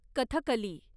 Kathakali